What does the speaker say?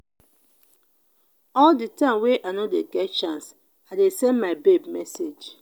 all di time wey i no dey get chance i dey send my babe message.